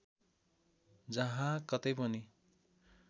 जहाँ कतै पनि